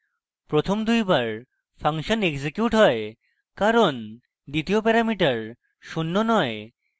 প্রথম দুইবার function execute হয় কারণ দ্বিতীয় প্যারামিটার শূন্য নয়